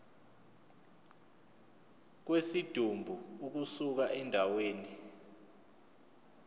kwesidumbu ukusuka endaweni